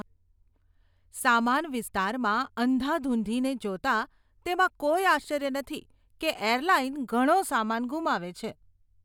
સામાન વિસ્તારમાં અંધાધૂંધીને જોતાં, તેમાં કોઈ આશ્ચર્ય નથી કે એરલાઇન ઘણો સામાન ગુમાવે છે.